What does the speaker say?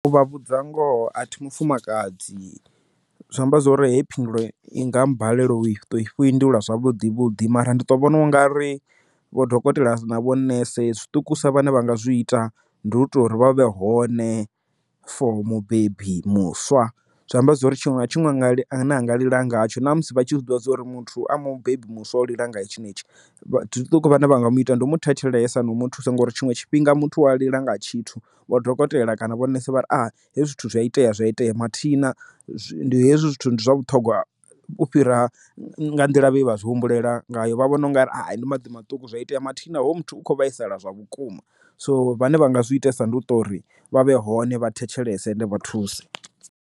U vha vhudza ngoho a thi mufumakadzi zwi amba zwori he phindulo i nga mbalela u i to i fhindula zwavhuḓi vhuḓi mara ndi to vhona u nga ri vho dokotela na vho nese zwiṱuku usa vhane vha nga zwi ita ndi hu tea uri vha vhe hone for mubebi muswa zwi amba zwori tshiṅwe na tshiṅwe nga ḽi a ne a nga lila ngatsho na musi vha tshi zwi ḓivha zwa uri muthu a mubebi muswa lila ngayo tshenetshi vhaṱuku vha na vhanga muṱa ndi u mu thetshelesa no mu thusa ngori tshiṅwe tshifhinga muthu wa lila nga tshithu wa dokotela kana vhonesa vha a hezwi zwithu zwi itea zwa itea mathina ndi hezwi zwithu ndi zwa vhuṱhogwa u fhira nga nḓila ye vha zwi humbulela ngayo vha vhona ungari he ndi maḓi maṱuku zwa itea mathina hoyo muthu ukho vhaisala zwavhukuma so vhane vha nga zwi itisa ndi u to uri vha vhe hone vha thetshelese ende vha thusi.